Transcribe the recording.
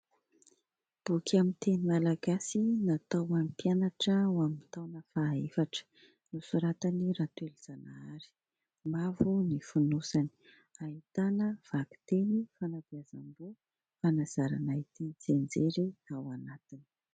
Boky amin'ny teny malagasy natao an'ny mpianatra ho amin'ny taona fahaefatra nosoratany Ratolojanahary, mavo ny fonosany, ahitana : vakiteny- fanabeazamboho- fanazarana hiteny- tsianjery ao anatiny.